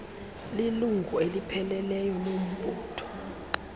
lilungu elipheleleyo lombutho